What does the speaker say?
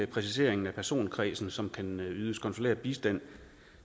præcisering af personkredsen som kan ydes konsulær bistand